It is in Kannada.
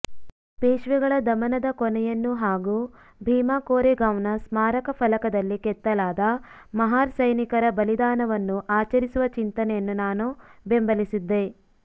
ಪೇಶ್ವೆಗಳ ದಮನದ ಕೊನೆಯನ್ನು ಹಾಗೂ ಭೀಮಾಕೋರೆಗಾಂವ್ನ ಸ್ಮಾರಕ ಫಲಕದಲ್ಲಿ ಕೆತ್ತಲಾದ ಮಹಾರ್ ಸೈನಿಕರ ಬಲಿದಾನವನ್ನು ಆಚರಿಸುವ ಚಿಂತನೆಯನ್ನು ನಾನು ಬೆಂಬಲಿಸಿದ್ದೆ